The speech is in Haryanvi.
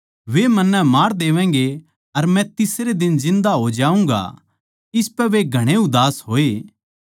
वे मन्नै मार देवैगें अर मै तीसरे दिन जिन्दा हो जाऊँगा इसपै वे घणे उदास होए